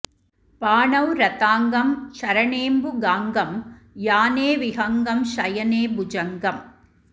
पाणौ रथाङ्गं चरणेम्बु गाङ्गम् याने विहङ्गं शयने भुजङ्गम्